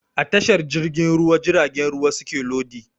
A tashar jirgin ruwa jiragen ruwa suke lodi